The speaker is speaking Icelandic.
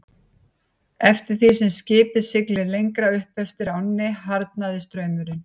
Eftir því sem skipið sigldi lengra upp eftir ánni harðnaði straumurinn.